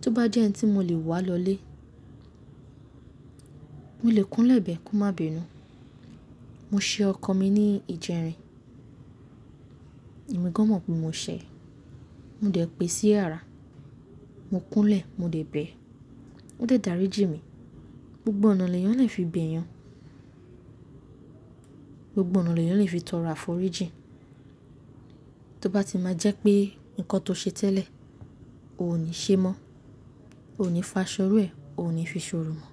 Tó bá jẹ́ ẹ n tí mo lè wá lọlé, mo lè kúnlẹ̀ bẹ́ẹ̀ kó má bínú. Mo ṣe ọkọ mi ní ijẹrin, èmi gan mọ̀ pé mo ṣẹ̀, mo dẹ̀ pè sí yara, mo kúnlẹ̀, mo dẹ̀ bẹ, ó dẹ̀ dárí jín mi. Gbgbo ọ̀nà leeyan lè fi bẹ̀ ẹ́ yàn, gbogbo ọ̀nà lè fi tọrọ àforíjìn. Tó bá ti má jẹ́ pé nǹkan tó ṣe tẹ́lẹ̀, o ò ní ṣe mọ́, o ò ní fa ṣọ́ iru ẹ́, o ò ní fi ṣòrò mọ́.